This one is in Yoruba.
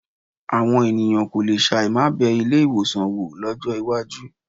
Àwọn ènìyàn kò le ṣàì má bẹ ilé-ìwọ̀sàn wò lọ́jọ́ iwájú.